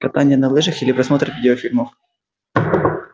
катание на лыжах или просмотр видеофильмов